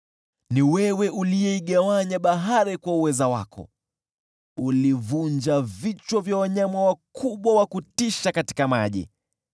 Ni wewe uliyeigawanya bahari kwa uweza wako; ulivunja vichwa vya wanyama wakubwa wa kutisha katika maji.